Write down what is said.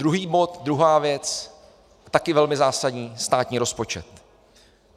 Druhý bod, druhá věc, taky velmi zásadní - státní rozpočet.